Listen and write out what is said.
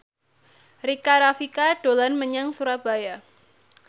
Rika Rafika dolan menyang Surabaya